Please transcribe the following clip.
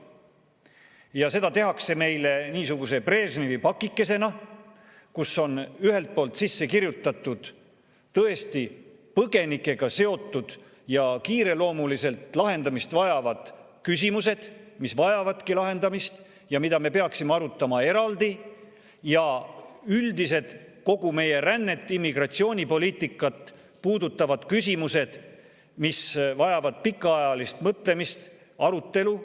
Ja seda tehakse niisuguse Brežnevi pakikesena, kuhu on ühelt poolt sisse kirjutatud tõesti põgenikega seotud kiireloomulist lahendamist vajavad küsimused, mis vajavadki lahendamist ja mida me peaksime arutama eraldi, ja üldised, kogu meie rännet, immigratsioonipoliitikat puudutavad küsimused, mis vajavad pikaajalist mõtlemist ja arutelu.